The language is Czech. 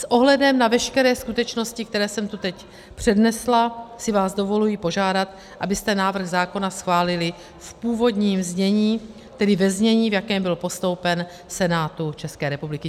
S ohledem na veškeré skutečnosti, které jsem tu teď přednesla, si vás dovoluji požádat, abyste návrh zákona schválili v původním znění, tedy ve znění, v jakém byl postoupen Senátu České republiky.